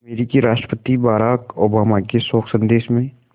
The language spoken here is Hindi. अमरीकी राष्ट्रपति बराक ओबामा के शोक संदेश में